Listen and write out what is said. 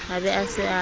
a be a se a